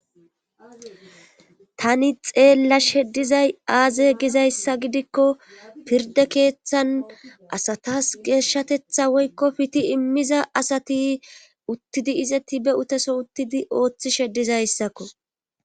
tani xeella sheddizay aaze gizayssa gidikko pirde keeththan asatas geeshshatetha woykko piti immiza asati uttidi izeti be uteso uttidi ooththi sheddizayssakko